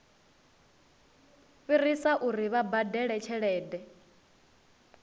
fhirisa uri vha badele tshelede